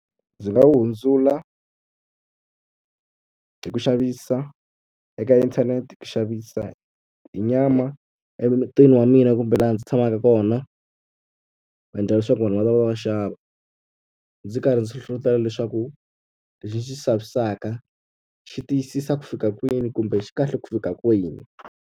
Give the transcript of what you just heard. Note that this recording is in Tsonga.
Ndzi nga wu hundzula hi ku xavisa eka inthanete, ku xavisa hi nyama emutini wa mina kumbe laha ndzi tshamaka kona, endlala leswaku vanhu va ta va va xava. Ndzi karhi ndzi hlohlotelo leswaku lexi ni xi xavisaka xi tiyisisa ku fika kwini kumbe xi kahle ku fika kwini.